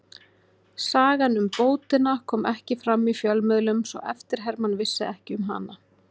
Sagan um bótina kom ekki fram í fjölmiðlum svo eftirherman vissi ekki um hana.